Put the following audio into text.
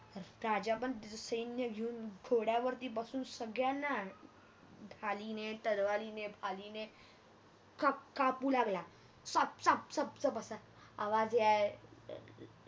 राजापण सैन्य घेऊन घोड्यावरती बसून संगळ्याना ढालीने तलवारीने ढालीने काप काप कापू लागला सप सप सप असा आवाज याय